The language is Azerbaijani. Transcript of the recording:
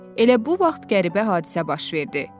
Elə bu vaxt qəribə hadisə baş verdi.